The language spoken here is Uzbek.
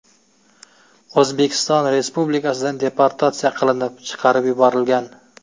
O‘zbekiston Respublikasidan deportatsiya qilinib, chiqarib yuborilgan.